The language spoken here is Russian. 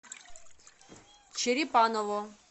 черепаново